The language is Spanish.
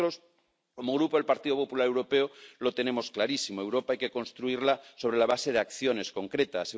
Nosotros, como Grupo del Partido Popular Europeo, lo tenemos clarísimo Europa hay que construirla sobre la base de acciones concretas